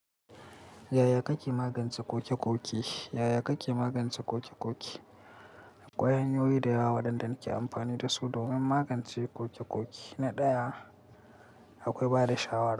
Yaya kake magance ƙokeƙoke? Yaya kake magance ƙokeƙoke? Akwai hanyoyi da yawa waɗanda muke amfani dasu domin magance ƙokeƙoke na ɗaya akwai bada shawara.